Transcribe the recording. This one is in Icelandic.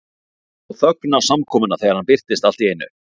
Það sló þögn á samkomuna þegar hann birtist allt í einu.